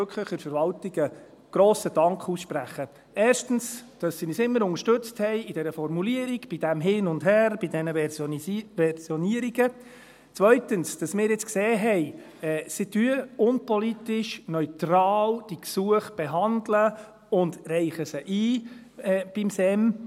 Ich möchte wirklich der Verwaltung einen grossen Dank aussprechen, erstens dafür, dass sie uns immer unterstützt hat bei der Formulierung, bei diesem Hin und Her bei diesen «Versionierungen», zweitens dafür, dass wir jetzt gesehen haben, dass sie diese Gesuche unpolitisch, neutral behandelt und sie beim SEM einreicht.